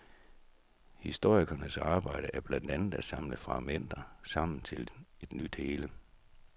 Historikerens arbejde er blandt andet at samle fragmenter sammen til et nyt hele.